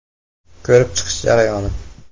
Ko‘rib chiqish jarayoni.